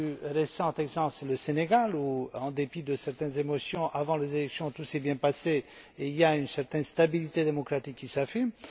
Le plus récent exemple, c'est le Sénégal où, en dépit de certaines émotions avant les élections, tout s'est bien passé et une certaine stabilité démocratique s'affirme.